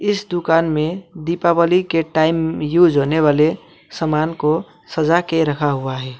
इस दुकान में दीपावली के टाइम यूज़ होने वाले सामान को सजा के रखा हुआ है।